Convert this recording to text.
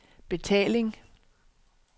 betaling